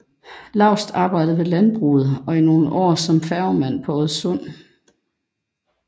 Laust arbejdede ved landbruget og i nogle år som færgemand på Oddesund